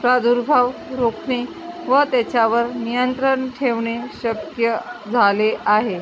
प्रादुर्भाव रोखणे व त्यावर नियंत्रण ठेवणे शक्य झाले आहे